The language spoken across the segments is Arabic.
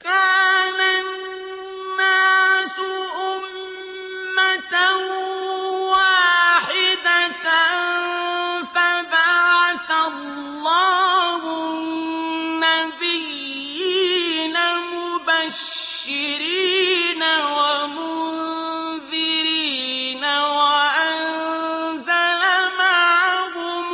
كَانَ النَّاسُ أُمَّةً وَاحِدَةً فَبَعَثَ اللَّهُ النَّبِيِّينَ مُبَشِّرِينَ وَمُنذِرِينَ وَأَنزَلَ مَعَهُمُ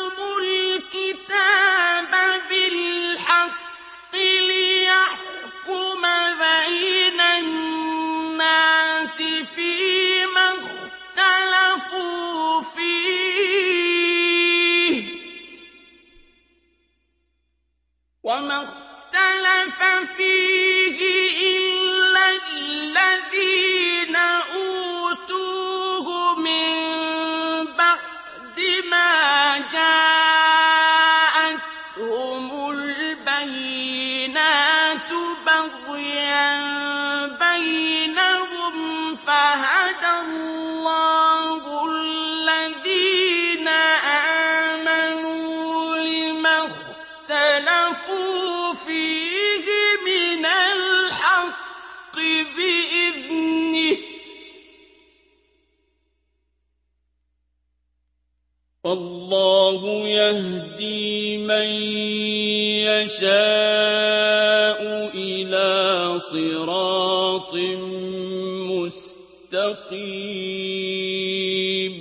الْكِتَابَ بِالْحَقِّ لِيَحْكُمَ بَيْنَ النَّاسِ فِيمَا اخْتَلَفُوا فِيهِ ۚ وَمَا اخْتَلَفَ فِيهِ إِلَّا الَّذِينَ أُوتُوهُ مِن بَعْدِ مَا جَاءَتْهُمُ الْبَيِّنَاتُ بَغْيًا بَيْنَهُمْ ۖ فَهَدَى اللَّهُ الَّذِينَ آمَنُوا لِمَا اخْتَلَفُوا فِيهِ مِنَ الْحَقِّ بِإِذْنِهِ ۗ وَاللَّهُ يَهْدِي مَن يَشَاءُ إِلَىٰ صِرَاطٍ مُّسْتَقِيمٍ